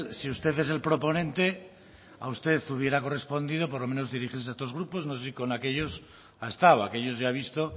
si usted es el proponente a usted hubiera correspondido por lo menos dirigirse a estos grupos no sé si con aquellos ha estado aquellos ya he visto